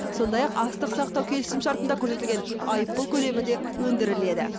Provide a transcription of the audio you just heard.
сондай ақ астық сақтау келісімшартында көрсетілген айыппұл көлемі де өндіріледі